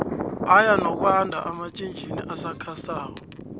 aya nokwando amatjhitjini asakha sako